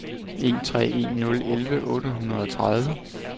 en tre en nul elleve otte hundrede og tredive